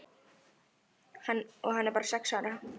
Og hann er bara sex ára.